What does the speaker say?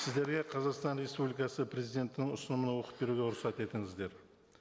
сіздерге қазақстан республикасы президентінің ұсынуын оқып беруге рұқсат етіңіздер